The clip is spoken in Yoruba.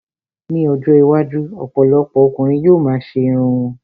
Ní ọjọ́ iwájú, ọ̀pọ̀lọpọ̀ ọkùnrin yóò ma ṣe irun wọn